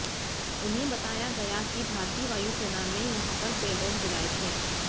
उन्हें बताया गया कि भारतीय वायुसेना ने यहां पर पेलोड गिराए थे